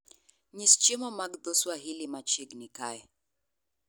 nyis chiemo mag dho Swahili machiegni kae